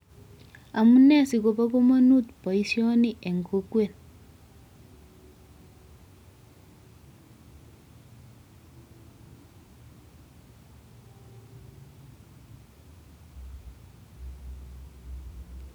Amunee sikobo kamanut boisyoni eng kokwet.